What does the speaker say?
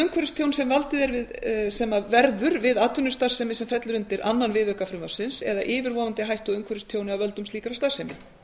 umhverfistjón sem verður við atvinnustarfsemi sem fellur undir öðrum viðauka frumvarpsins eða yfirvofandi hættu á umhverfistjóni af völdum slíkrar starfsemi